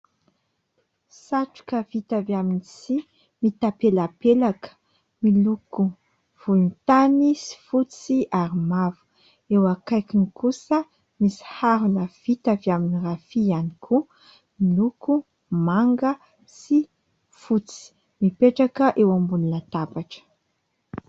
Satroka vita avy amin'ny tsihy mitapelapelaka : miloko volontany sy fotsy ary mavo. Eo akaikiny kosa misy harona vita avy amin'ny rafia ihany koa : miloko manga sy fotsy; mipetraka eo ambonny tabatra.